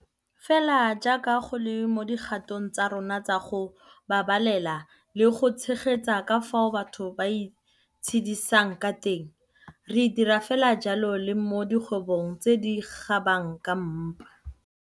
Fela jaaka go le mo dikgatong tsa rona tsa go babalela le go tshegetsa ka fao batho ba itshedisang ka teng, re dira fela jalo le mo dikgwebong tse di kgobang ka mpa.